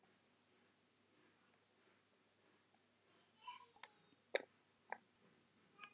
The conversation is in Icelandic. Þegar kvölda tók gengu þau Þórdís úr stofu.